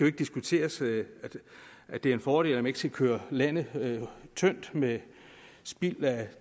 ikke diskuteres at det er en fordel at man ikke skal køre landet tyndt med spild af